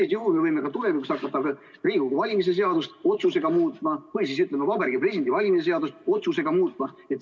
Sel juhul me võime tulevikus hakata ka Riigikogu valimiste seadust otsusega muutma või siis Vabariigi Presidendi valimise seadust otsusega muutma.